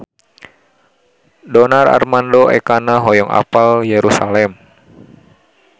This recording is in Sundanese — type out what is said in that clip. Donar Armando Ekana hoyong apal Yerusalam